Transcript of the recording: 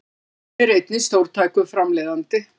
Hann er einnig stórtækur framleiðandi